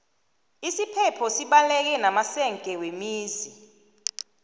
isiphepho sibaleke namasenge wemizi